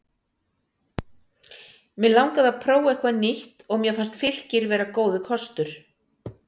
Mig langaði að prófa eitthvað nýtt og mér fannst Fylkir vera góður kostir.